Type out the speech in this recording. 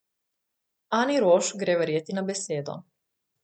Ani Roš gre verjeti na besedo.